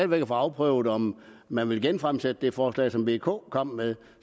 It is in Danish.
væk at få afprøvet om man vil genfremsætte det forslag som v og k kom med